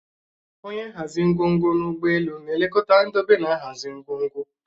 Onye nhazi ngwongwo n'ụgbọelu na-elekọta ndobe na nhazi ngwongwo